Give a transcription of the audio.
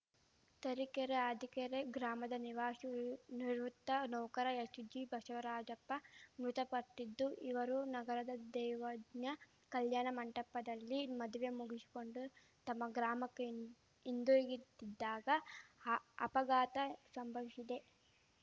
ತರೀಕೆರೆ ಆದಿಕೆರೆ ಗ್ರಾಮದ ನಿವಾಶಿ ನಿವೃತ್ತ ನೌಕರ ಎಸ್‌ಜಿ ಬಶವರಾಜಪ್ಪ ಮೃತಪಟ್ಟಿದ್ದು ಇವರು ನಗರದ ದೈವಜ್ಞ ಕಲ್ಯಾಣ ಮಂಟಪದಲ್ಲಿ ಮದುವೆ ಮುಗಿಶಿಕೊಂಡು ತಮ್ಮ ಗ್ರಾಮಕ್ಕೆ ಹಿಂದ್ ಹಿಂದಿರುಗುತ್ತಿದ್ದಾಗ ಅ ಅಪಘಾತ ಶಂಭವಿಸಿದೆ